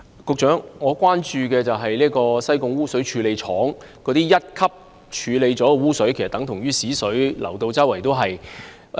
局長，我關注的是西貢污水處理廠處理後的一級污水，即等同糞水流往海港其他範圍的情況。